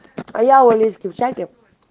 а я у олеськи в чате